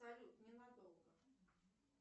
салют ненадолго